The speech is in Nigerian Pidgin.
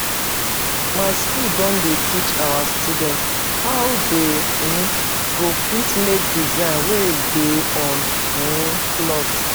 My school don dey teach our students how they um go fit make design wey dey on um cloth